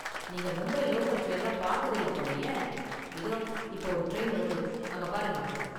நீங்க மும்பை லோக்கல் டிரைன்லாம் பாத்தது இல்ல போலயே; இதோ இப்ப ஒரு டிரைன் வருது, அங்க பாருங்க.